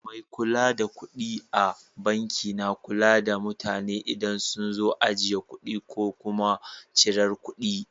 Mai kula da kuɗi a banki na kula da mutane idan sun zo ajiye kuɗi ko kuma cirar kuɗi.